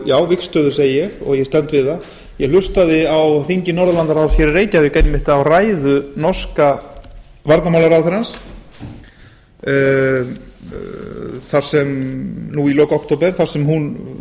já vígstöðu segi ég og ég stend við það ég hlustaði á þingi norðurlandaráðs hér í reykjavík einmitt á ræðu norska varnarmálaráðherrans nú í lok október þar sem hún